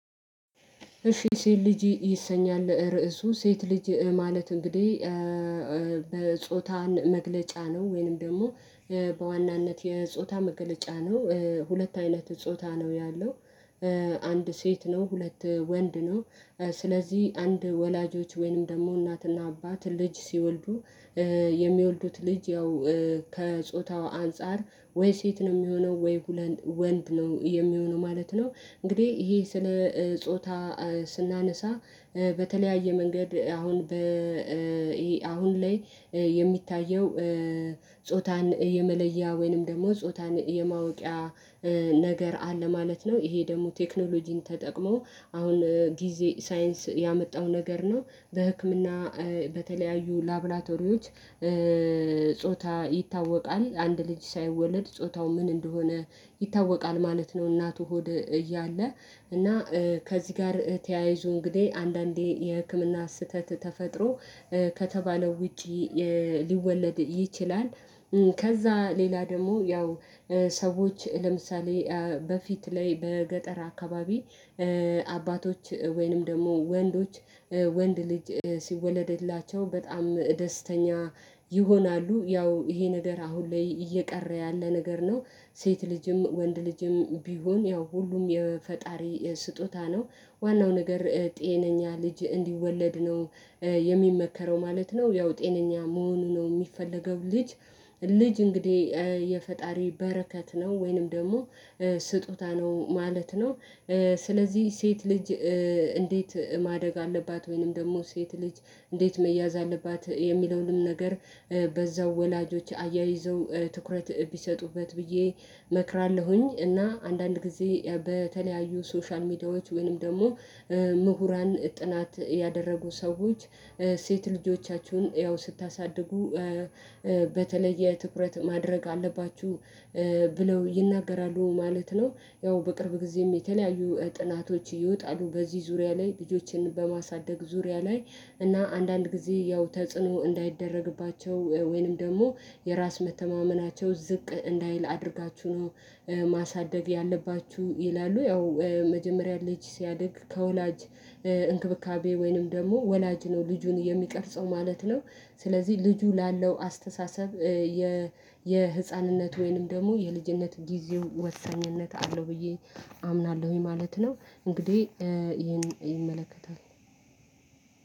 እሺ ሴት ልጅ ይሰኛል ርዕሱ ሴት ልጅ ማለት እንግዲህ በጾታን መግለጫ ነው ወይንም ደግሞ በዋናነት የጾታ መገለጫ ነው። ሁለት አይነት ጾታ ነው ያለው አንድ ሴት ነው ሁለት ወንድ ነው። ስለዚህ አንድ ወላጆች ወይንም ደግሞ እናትና አባት ልጅ ሲወልዱ የሚወልዱት ልጅ ያው ከጾታው አንፃር ወይ ሴት ነው የሚሆነው ወይ ወንድ ነው የሚሆነው ማለት ነው። እንግዲህ ይሄ ስለ ጾታ ስናነሳ በተለያየ መንገድ አሁን በ አሁን ላይ የሚታየው ጾታን የመለያ ወይንም ደግሞ ጾታን የማውቂያ ነገር አለ ማለት ነው። ይሄ ደግሞ ቴክኖሎጂን ተጠቅሞ አሁን ጊዜ ሳይንስ ያመጣው ነገር ነው። በህክምና በተለያዩ ላብላቶሪዎች ጾታ ይታወቃል አንድ ልጅ ሳይወለድ ጾታው ምን እንደሆነ ይታወቃል ማለት ነው። እናቱ ሆድ እያለ እና ከዚህ ጋር ተያይዞ እንግዲህ አንዳንዴ የህክምና ስህተት ተፈጥሮ ከተባለው ውጪ ሊወለድ ይችላል። ከዛ ሌላ ደግሞ ያው ሰዎች ለምሳሌ በፊት ላይ በገጠር አካባቢ አባቶች ወይንም ደግሞ ወንዶች ወንድ ልጅ ሲወለድላቸው በጣም ደስተኛ ይሆናሉ ያው ይሄ ነገር አሁን ላይ እየቀረ ያለ ነገር ነው። ሴት ልጅም ወንድ ልጅም ቢሆን ያው ሁሉም የፈጣሪ ስጦታ ነው። ዋናው ነገር ጤነኛ ልጅ እንዲወለድ ነው የሚመከረው ማለት ነው። ያው ጤነኛ መሆኑ ነው የሚፈለገው ልጅ ልጅ እንግዲህ የፈጣሪ በረከት ነው ወይንም ደግሞ ስጦታ ነው ማለት ነው። ስለዚህ ሴት ልጅ እንዴት ማደግ አለባት? ወይንም ደግሞ ሴት ልጅ እንዴት መያዝ አለባት የሚለውንም ነገር። በዛው ወላጆች አያይዘው ትኩረት ቢሰጡበት ብዬ እመክራለሁኝ። እና አንዳንድ ጊዜ በተለያዩ ሶሻል ሚዲያዎች ወይንም ደግሞ ምሁራን ጥናት ያደረጉ ሰዎች ሴት ልጆቻችሁን እያው ስታሳድጉ በተለየ ትኩረት ማድረግ አለባችሁ ብለው ይናገራሉ ማለት ነው። ያው በቅርብ ጊዜም የተለያዩ ጥናቶች ይወጣሉ በዚህ ዙሪያ ላይ ልጆችን በማሳደግ ዙሪያ ላይ እና አንዳንድ ጊዜ ያው ተጽዕኖ እንዳይደረግባቸው ወይንም ደግሞ የራስ መተማመናቸው ዝቅ እንዳይል አድርጋችሁ ነው ማሳደግ ያለባችሁ ይላሉ። ያው መጀመሪያ ልጅ ሲያድግ ከወላጅ እንክብካቤ ወይንም ደግሞ ወላጅ ነው ልጁን የሚቀርጸው ማለት ነው። ስለዚህ ልጁ ላለው አስተሳሰብ የ የህፃንነት ወይንም ደግሞ የልጅነት ጊዜው ወሳኝነት አለው ብዬ አምናለሁኝ ማለት ነው። እንግዲህ ይሄን ይመለከታል።